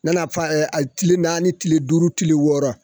Nana fa a tile naani, tile duuruti, tile wɔɔrɔ